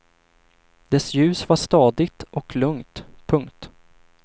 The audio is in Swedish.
Dess ljus var stadigt och lugnt. punkt